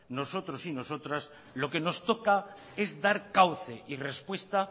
lo que nos toca es dar cauce y respuesta